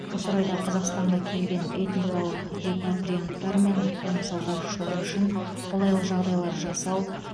осы орайда қазақстанға келген этникалық репатрианттар мен қоныс аударушылар үшін қолайлы жағдайлар жасау